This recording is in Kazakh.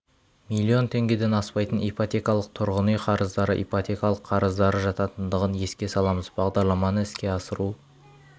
млн теңгеден аспайтын ипотекалық тұрғын үй қарыздары ипотекалық қарыздар жататындығын еске саламыз бағдарламаны іске асыру